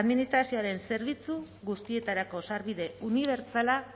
administrazioaren zerbitzu guztietarako sarbide unibertsala